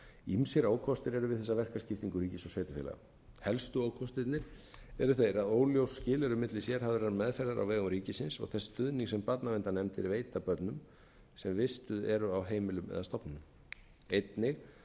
ýmsir ókostir eru við þessa verkaskiptingu ríkis og sveitarfélaga helstu ókostirnir eru þeir að óljós skil eru á milli sérhæfðrar meðferðar á vegum ríkisins og þess stuðnings sem barnaverndarnefndir veita börnum sem vistuð eru á heimilum eða stofnunum einnig að